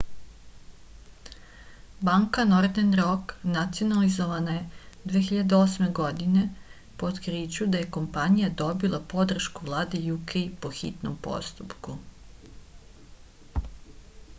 banka nordern rok nacionalizovana je 2008. godine po otkriću da je kompanija dobila podršku vlade uk po hitnom postupku